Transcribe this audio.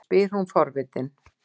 spyr hún forvitin.